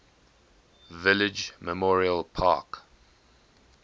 village memorial park